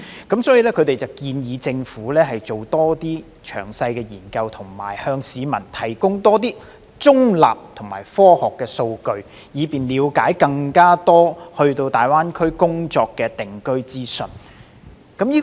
因此，調查建議政府多作詳細研究和多向市民提供中立及科學的數據，以便市民了解更多大灣區的工作及定居資訊。